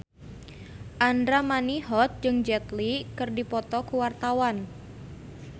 Andra Manihot jeung Jet Li keur dipoto ku wartawan